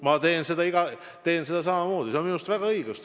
Ma teen seda samamoodi, see on minu meelest väga õige.